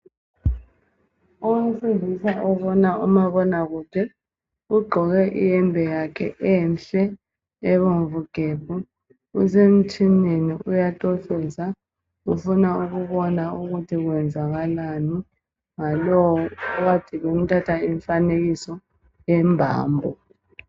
Owesilisa obona umabonakude ugqoke iyembe yakhe enhle ebomvu gebhu usemtshineni uyacofoza ufuna ukubona ukuthi kwenzakalani ngalowo okade emthatha imfanekiso yembambo.